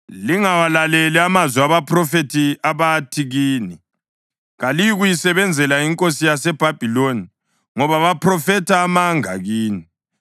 Lingawalaleli amazwi abaphrofethi abathi kini, ‘Kaliyikuyisebenzela inkosi yaseBhabhiloni,’ ngoba baphrofetha amanga kini.